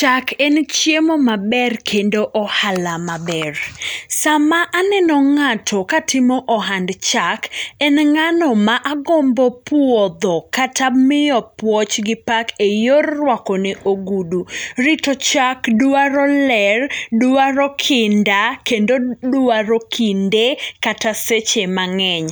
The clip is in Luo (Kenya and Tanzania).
Chak en chiemo maber, kendo ohala maber. Sama aneno ng'ato katimo ohand chak, en ng'ano ma agombo puodho, kata miyo puoch gi pak e yor ruakone ogudu. Rito chak dwaro ler, dwaro kinda, kendo dwaro kinde, kata seche mang'eny.